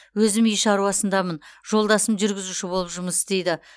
өзім үй шаруасындамын жолдасым жүргізуші болып жұмыс істейді